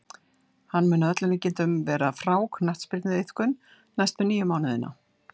Hann mun að öllum líkindum vera frá knattspyrnuiðkun næstu níu mánuðina.